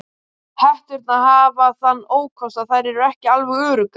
Hetturnar hafa þann ókost að þær eru ekki alveg öruggar.